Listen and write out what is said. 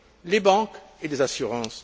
les banques et les assurances.